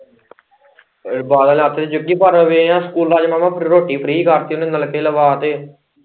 ਬਾਦਲ ਨੇ ਅੱਤ ਤੇ ਚੁੱਕੀ ਪਰ ਏ ਵੀ ਸਕੂਲਾਂ ਚ ਮੈਂ ਕਿਹਾ ਰੋਟੀ, ਰੋਟੀ ਫੀ੍ ਕਰ ਤੀ ਉਹਨੇ ਤੇ ਨਲਕੇ ਲਵਾਂ ਤੇ।